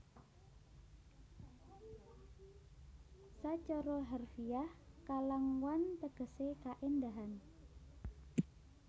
Sacara harfiah Kalangwan tegesé kaéndahan